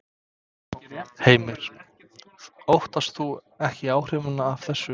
Heimir: Óttast þú ekki áhrifin af þessu?